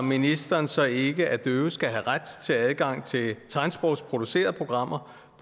ministeren så ikke at døve skal have ret til adgang til tegnsprogsproducerede programmer